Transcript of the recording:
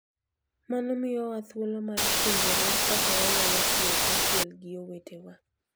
Mano miyowa thuolo mar puonjore kaka wanyalo tiyo kanyachiel gi owetewa.